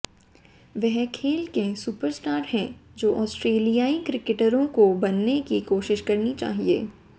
वह खेल के सुपरस्टार हैं जो ऑस्ट्रेलियाई क्रिकेटरों को बनने की कोशिश करनी चाहिये